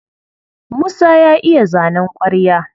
Musa ya iya zanen ƙwarya.